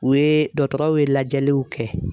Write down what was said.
U ye dɔtɔrɔw ye lajɛliw kɛ.